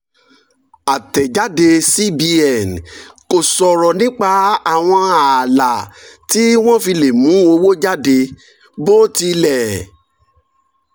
àtẹ̀jáde cbn kò sọ̀rọ̀ nípa àwọn ààlà tí wọ́n fi lè mú owó jáde bó tilẹ̀